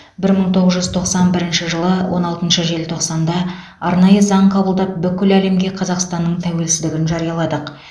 бір мың тоғыз жүз тоқсан бірінші жылы он алтыншы желтоқсанда арнайы заң қабылдап бүкіл әлемге қазақстанның тәуелсіздігін жарияладық